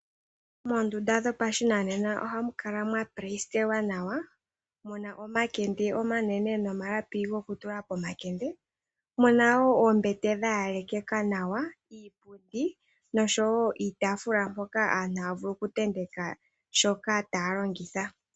Moondunda dhopashinanena ohamu kala mwa pleyisitelwa nawa mu na omakende omanene nomalapi gokutula pomalende, muna woo oombete dha yelekekeka nawa iipundi nosho woo iitaafula mopoka aantu haya vulu okuntenteka shoka taya longitha.